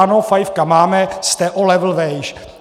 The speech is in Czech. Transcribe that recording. Ano, fajfka máme, jste o level výš.